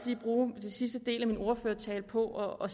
lige bruge den sidste del af min ordførertale på at